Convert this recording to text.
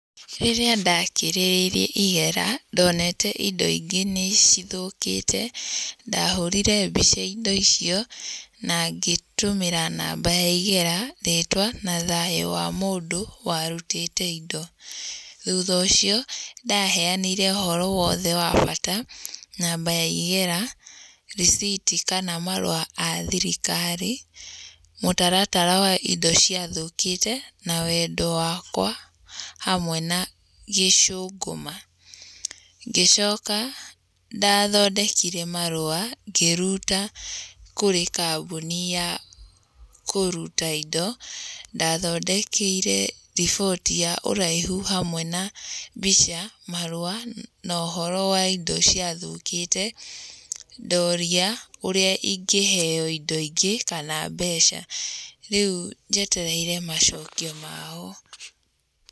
Rĩrĩa ndakirĩrĩirie igera, ndoneete indo ingĩ nĩ cithũkĩte. Ndahũrire mbica indo icio na ngĩtũmĩra namba ya igera rĩtwa, na thayũ wa mũndũ warutĩte indo. Thutha ũcio, ndaheanire ũhoro wothe wa bata, namba ya igera, receipt kana marũa a thirikari, mũtaratara wa indo cia thũkĩte, na wendo wakwa, hamwe na gĩcũngũma. Ngĩcoka, ndathondekire marũa, ngĩruta kũrĩ kambuni ya kũruta indo, ndathondekeire riboti ya ũraihu hamwe na mbica, marũa, na ũhoro wa indo cia thũkĩte, ndaũria ũrĩa ingĩheo indo ingĩ kana mbeca. Rĩu njetereire macokio mao.